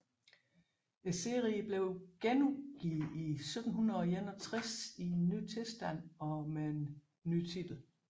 Serien blev genudgivet i 1761 i en ny tilstand og med en ny titel